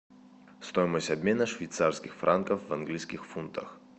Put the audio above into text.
стоимость обмена швейцарских франков в английских фунтах